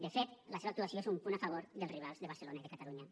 de fet la seva actuació és un punt a favor dels rivals de barcelona i de catalunya